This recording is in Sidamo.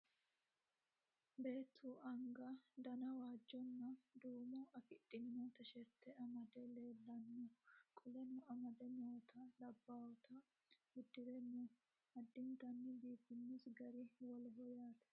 Beettu aniga dana waajjona duumo afidhino tisherite amade leellano qoleno amade noota labbawota uddire no addinittanni biifiinos gari woleho yaate